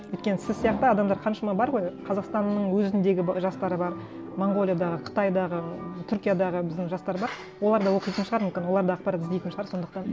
өйткені сіз сияқты адамдар қаншама бар ғой қазақстанның өзіндегі жастары бар монғолиядағы қытайдағы түркиядағы біздің жастар бар олар да оқитын шығар мүмкін олар да ақпарат іздейтін шығар сондықтан